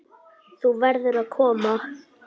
Þú verður að koma!